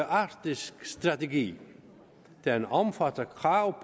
arktisk strategi den omfatter krav